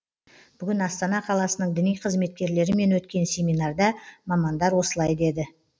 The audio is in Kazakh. бүгін астана қаласының діни қызметкерлерімен өткен семинарда мамандар осылай деді